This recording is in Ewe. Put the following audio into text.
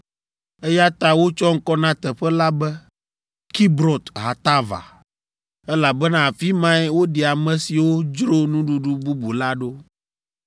Eya ta wotsɔ ŋkɔ na teƒe la be Kibrot Hatava, elabena afi mae woɖi ame siwo dzro nuɖuɖu bubu la ɖo.